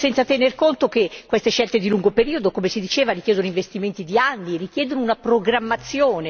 Senza tener conto che queste scelte di lungo periodo, come si diceva, richiedono investimenti di anni, richiedono una programmazione.